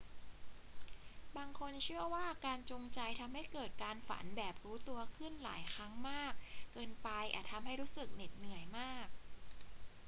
บางคนเชื่อว่าการจงใจทำให้เกิดการฝันแบบรู้ตัวขึ้นหลายครั้งมากเกินไปอาจทำให้รู้สึกเหน็ดเหนื่อยมาก